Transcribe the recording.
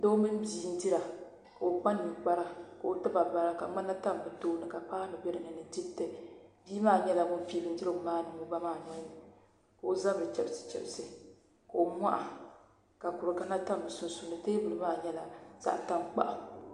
Doo mini o bia n dira ka o kpa ninkpara ka o tiba bara ka ŋmana tam bi tooni ka paanu bɛ dinni ni diriti bia maa nyɛla ŋun pii bindirigu maa niŋ o ba nolini ka o zabiri chɛbisi chɛbisi ka o moha ka kuri ŋmana tam bi sunsuuni teebuli maa nyɛla zaɣ tankpaɣu